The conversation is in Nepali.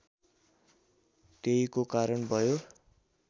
त्यहीको कारण भयो